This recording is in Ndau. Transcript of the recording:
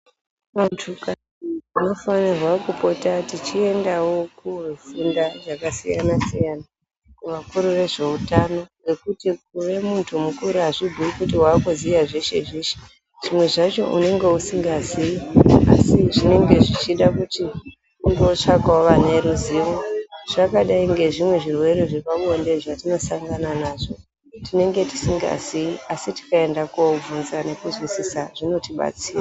Vantu tinofanirwa kupota tichiendawo kofunde zvakasiyanasiyana kuvakuru vezveutano ngekuti kuve muntu mukuru azvibhuyi kuti wakuziye zveshezveshe zvimwezvacho unenge usingazivi asi zvinenge zvichida kuti ungotsvakawo vane ruzivo zvakadai ngezvimwe zvirwere zvepabonde zvatinosangana nazvo tinenge tisingazi asi tikaenda kobvunza nekuzwisisa zvinotibatsira.